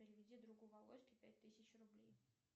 переведи другу володьке пять тысяч рублей